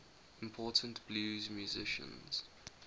important blues musicians